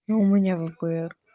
ну у меня впр